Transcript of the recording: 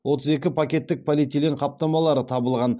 отыз екі пакеттік полиэтилен қаптамалары табылған